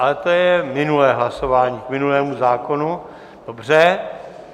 Ale to je minulé hlasování, k minulému zákonu, dobře.